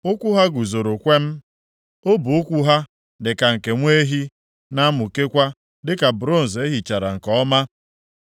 Ụkwụ ha guzoro kwem; ọbụ ụkwụ ha dịka nke nwa ehi, na-amụkekwa dịka bronz e hichara nke ọma.